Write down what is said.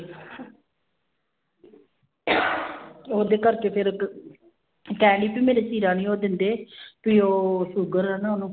ਉਹਦੇ ਕਰਕੇ ਫਿਰ ਕਹਿੰਦੀ ਵੀ ਮੇਰੇ ਚੀਰਾ ਨੀ ਉਹ ਦਿੰਦੇ ਵੀ ਉਹ ਸੂਗਰ ਹੈ ਨਾ ਉਹਨੂੰ।